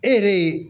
E yɛrɛ ye